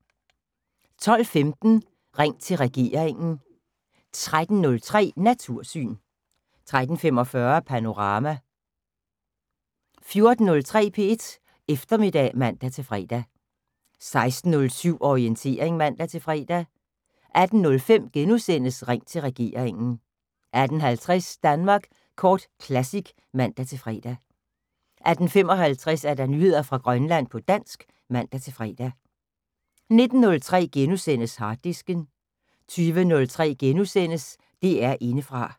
12:15: Ring til regeringen 13:03: Natursyn 13:45: Panorama 14:03: P1 Eftermiddag (man-fre) 16:07: Orientering (man-fre) 18:05: Ring til regeringen * 18:50: Danmark Kort Classic (man-fre) 18:55: Nyheder fra Grønland på dansk (man-fre) 19:03: Harddisken * 20:03: DR Indefra *